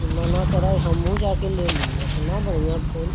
इ मना कर् हम्मु जाके ले लिये एतना बढ़ियां फूल।